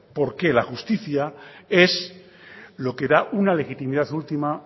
porque la justicia es lo que da una legitimidad última